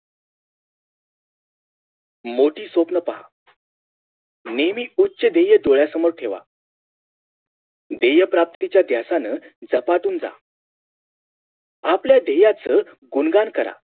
मोठी स्वप्न पहा नेहमी उच्य ध्येय डोळ्यासमोर ठेवा ध्येय्य प्राप्तीच्या ध्यासानं झपाटून जा आपल्या धेय्याच गुणगान करा